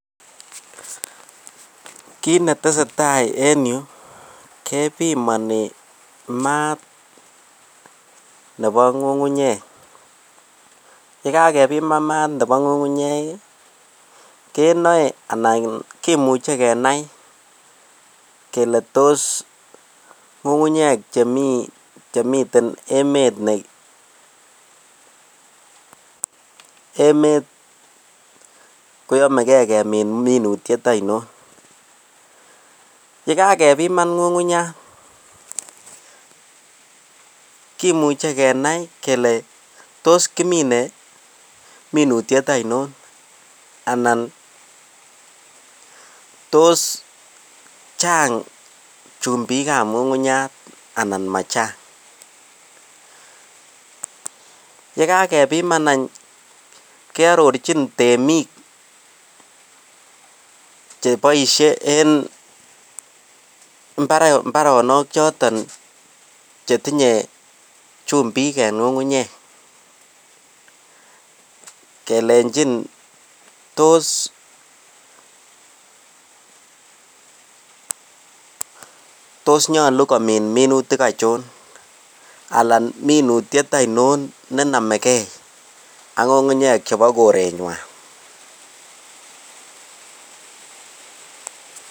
Kit netesetai en yuu kebimoni maat nebo ng'ung'unyek yekaa kepiman maat nebo ng'ung'unyek ii keone anan kimuche kenai kelee tos ng'ung'unyek chemiten emet ne emet koyomegee kemin minutiet oinon. Yee kagepiman ng'ung'unyat kimuche kenae kelee tos kimine minutiet oinon anan tos Chang chumbik ab ngungunyat anan machang, yee kagepiman any ke ororchin temik che boishe en imbaronok choton che tinye chumbik en mbaronok kelejin tos nyoluu komin minutik achon ana minutiet ainon ne nomegee ak ng'ung'unyek chebo korenywan